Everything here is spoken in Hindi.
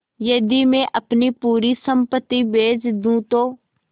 यदि मैं अपनी पूरी सम्पति बेच दूँ तो